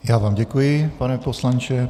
Já vám děkuji, pane poslanče.